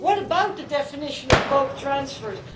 What about the definition of bulk transfers?